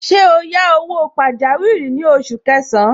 Ṣé o yá owó pajawiri ní oṣù kẹsàn-án?